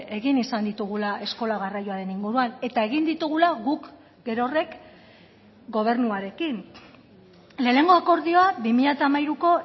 egin izan ditugula eskola garraioaren inguruan eta egin ditugula guk gerorrek gobernuarekin lehenengo akordioa bi mila hamairuko